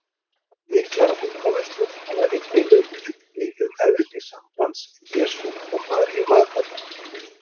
Miklar vangaveltur hafa einnig verið uppi um eðli sambands Jesú og Maríu Magdalenu.